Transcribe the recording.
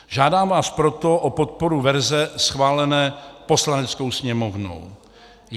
Žádám vás proto o podporu verze schválené Poslaneckou sněmovnou.